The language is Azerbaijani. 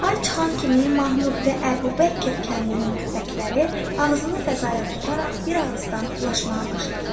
Ay çıxan kimi Mahmud və Əbubəkir kəndinin köpəkləri ağzını fəzaya tutaraq bir ağızdan ulaşmağa başladılar.